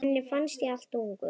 Henni fannst ég of ungur.